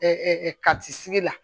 kati sigi la